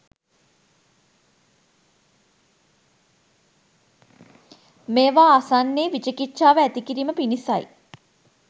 මේවා අසන්නේ විචිකිච්චාව ඇති කිරීම පිණිසයි.